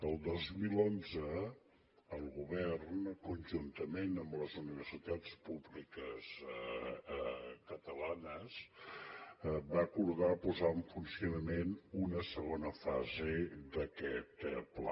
el dos mil onze el govern conjuntament amb les universitats públiques catalanes va acordar posar en funcionament una segona fase d’aquest pla